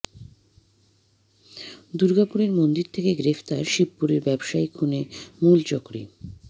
দুর্গাপুরের মন্দির থেকে গ্রেফতার শিবপুরের ব্যবসায়ী খুনে মূল চক্রী